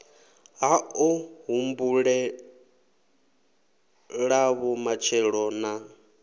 ha o humbulelavho matshelo na